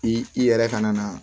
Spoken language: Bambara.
I yɛrɛ kana na